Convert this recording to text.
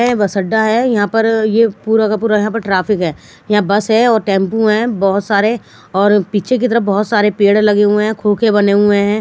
यह बस अड्डा है यहां पर यह पूरा का पूरा यहां पर ट्रैफिक है यहां बस है और टेंपू हैं बहुत सारे और पीछे की तरफ बहुत सारे पेड़ लगे हुए हैं बने हुए हैं।